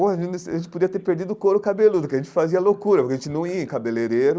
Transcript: A gente a gente podia ter perdido o couro cabeludo, porque a gente fazia loucura, porque a gente não ia em cabeleireiro.